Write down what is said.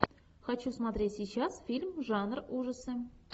хочу смотреть сейчас фильм жанр ужасы